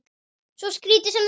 Svo skrítið sem það er.